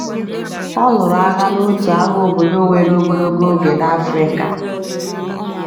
Ọ lụrụ agha n’otu agha obodo were ogologo oge n’Africa.